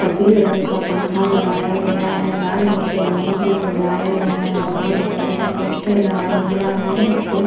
सफेद रंग का पंखा लगाया गया है लाल रंग के बलून से सजाया गया है बहोत बड़ा सा पोस्टर लगा हुआ है उस पे--